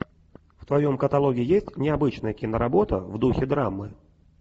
в твоем каталоге есть необычная киноработа в духе драмы